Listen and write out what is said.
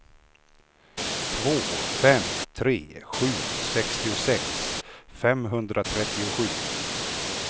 två fem tre sju sextiosex femhundratrettiosju